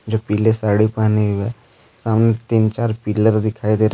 जो पीले साड़ी पहनी हुई है सामने तीन चार पिलर दिखाई दे रहे हैं।